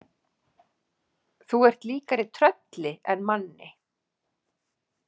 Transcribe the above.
Þú ert líkari trölli en manni.